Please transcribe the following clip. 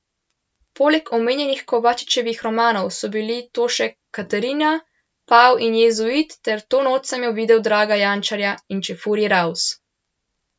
Poleg omenjenih Kovačičevih romanov so bili to še Katarina, pav in jezuit ter To noč sem jo videl Draga Jančarja in Čefurji raus!